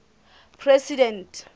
president